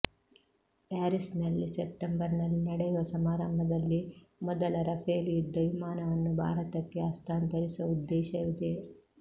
ಪ್ಯಾರಿಸ್ನಲ್ಲಿ ಸೆಪ್ಟೆಂಬರ್ನಲ್ಲಿ ನಡೆಯುವ ಸಮಾರಂಭದಲ್ಲಿ ಮೊದಲ ರಫೇಲ್ ಯುದ್ಧ ವಿಮಾನವನ್ನು ಭಾರತಕ್ಕೆ ಹಸ್ತಾಂತರಿಸುವ ಉದ್ದೇಶವಿದೆ